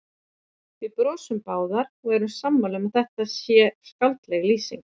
Við brosum báðar og erum sammála um að þetta sé skáldleg lýsing.